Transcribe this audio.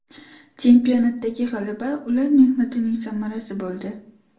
Chempionatdagi g‘alaba ular mehnatining samarasi bo‘ldi.